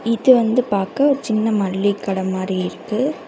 இது வந்து பாக்க ஒரு சின்ன மளி கட மாரி இருக்கு.